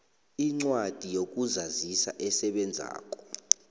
incwadi yokuzazisa esebenzako